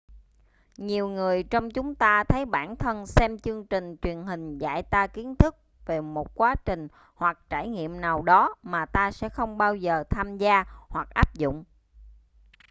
nhiều người trong chúng ta thấy bản thân xem chương trình truyền hình dạy ta kiến thức về một quá trình hoặc trải nghiệm nào đó mà ta sẽ không bao giờ tham gia hoặc áp dụng